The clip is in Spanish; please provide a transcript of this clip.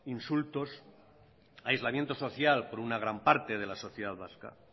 insultos aislamiento social por una gran parte de la sociedad vasca